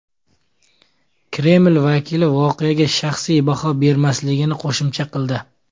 Kreml vakili voqeaga shaxsiy baho bermasligini qo‘shimcha qildi.